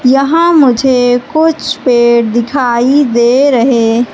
यहां मुझे कुछ पेड़ दिखाई दे रहे--